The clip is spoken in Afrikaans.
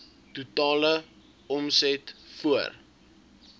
totale omset voor